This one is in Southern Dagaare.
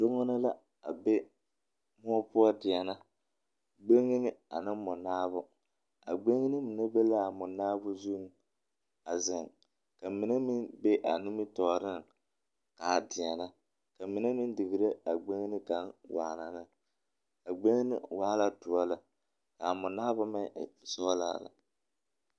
Doŋene la a be mõͻ poͻ a deԑnԑ. Gbeŋini ane mͻnaabo. A gbeŋini mine be la a mͻnaabo zuŋ a zeŋe, ka mine meŋ be a nimitͻͻreŋ a deԑnԑ. ka mine meŋ digiri a gbeŋini kaŋa waana ne. A gbeŋini waa la dõͻ lԑ, ka a mͻnaabo meŋ e sͻgelaa lԑ.